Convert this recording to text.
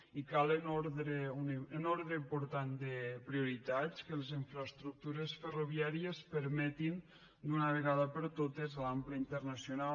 i cal en ordre important de prioritats que les infraestructures ferroviàries permetin d’una vegada per totes l’ample internacional